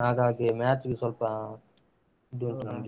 ಹಾಗಾಗಿ match ಗೆ ಸ್ವಲ್ಪ ಇದುಂಟು ನಮ್ಗೆ.